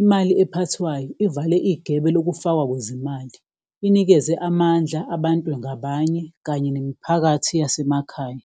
imali ephathwayo ivale igebe lokufakwa kwezemali inikeze amandla abantu ngabanye kanye nemiphakathi yasemakhaya.